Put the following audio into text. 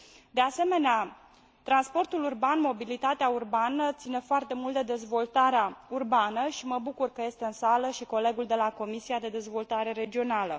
De asemenea, transportul urban, mobilitatea urbană țin foarte mult de dezvoltarea urbană și mă bucur că este în sală și colegul de la Comisia de Dezvoltare Regională.